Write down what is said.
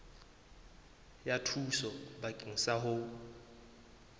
ya thuso bakeng sa ho